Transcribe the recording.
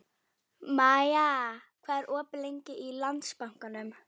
Maja, hvað er opið lengi í Landsbankanum?